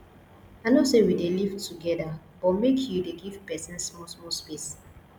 i know sey we dey live togeda but make you dey give pesin small small space